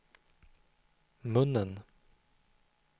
munnen